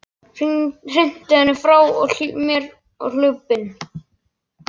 Hrinti henni frá mér og hljóp inn.